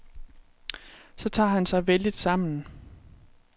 Så tager han sig vældigt sammen.